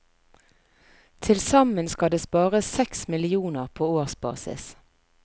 Tilsammen skal det spares seks millioner på årsbasis.